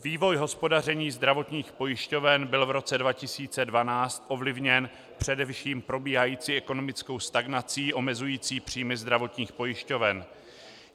Vývoj hospodaření zdravotních pojišťoven byl v roce 2012 ovlivněn především probíhající ekonomickou stagnací omezující příjmy zdravotních pojišťoven.